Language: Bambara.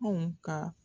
Anw ka